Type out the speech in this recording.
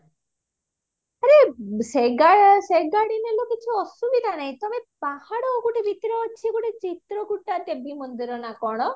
ଆରେ ସେ ଗା ସେ ଗାଡି ନେଲା କିଛି ଅସୁବିଧା ନାହି ତମେ ପାହାଡ ଗୋଟେ ଭିତରେ ଅଛି ଗୋଟେ ଚିତ୍ର କୁଟା ଦେବୀ ମନ୍ଦିର ନା କଣ